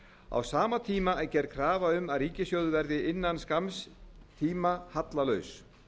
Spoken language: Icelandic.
á sama tíma er gerð krafa um að ríkissjóður verði innan skamms tíma hallalaus